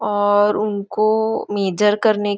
और उनको मेजर करने --